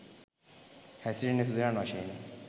හෑසිරෙන්නේ සුදනන් වශයෙනි